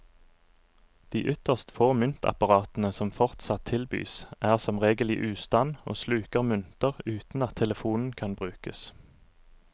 De ytterst få myntapparatene som fortsatt tilbys, er som regel i ustand og sluker mynter uten at telefonen kan brukes.